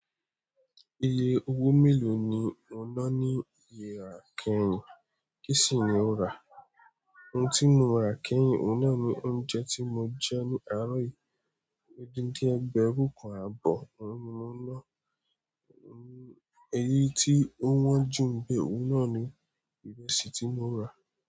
Iye owó mélòó ni o ná ní yẹra kẹyìn? Kí sì ni o rà? Ohun tí mo rà kẹ́yìn, òun náà ni oúnjẹ tí mo jẹ ní àárọ̀ yìí, odindi ẹgbẹ̀rún kan àbọ̀ òun ni mo ná, eyi tí ó wọ́n jù ń bẹ̀, òun náà ni ìrẹsì tí mo rà.